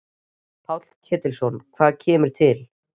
Páll Ketilsson: Hvað kemur til?